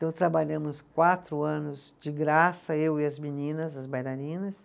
Então trabalhamos quatro anos de graça, eu e as meninas, as bailarinas.